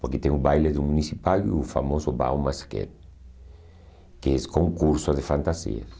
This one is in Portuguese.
Porque tem o baile do Municipal e o famoso Baú Masquet, que és concurso de fantasias.